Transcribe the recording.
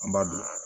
An b'a dun